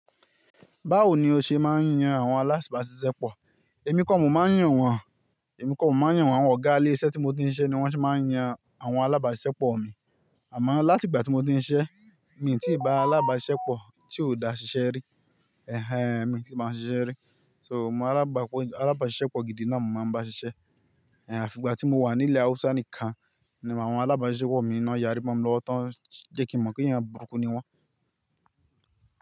Báwo ni o ṣe máa ń yan àwọn alábàáṣiṣẹ́pọ̀? Èmi kọ́ mo máa ń yàn wọ́n, èmi kọ́ mo máa ń yàn wọ́n. Awọ́n gálẹ́ iṣẹ́ tí mo ti ń ṣise ni wọ́n ṣe máa ń yan àwọn alábáàṣiṣẹ́pọ̀ mi. Àmọ́ láti ìgbà tí mo ti ń ṣiṣẹ́, mi ò tí ì bá alábáàṣiṣẹ́pọ̀ tí ó dà ṣiṣẹ́ rí. Ẹ̀hẹn, èmi tí báwoń ṣiṣẹ́ rí. So, àwọn alábáàṣiṣẹ́pọ̀ gidi náà mo máa ń bá ṣiṣẹ́. Ẹ̀hẹn, àfi ìgbà tí mo wà ní ilẹ̀ Hausa nìkan ni àwọn alábáàṣiṣẹ́pọ̀ mi náà yàrí mó lọ́wọ́ tán jẹ́ kí n mọ̀ pé ìyẹn burúkú ni wọ́n.